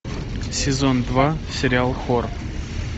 сезон два сериал хор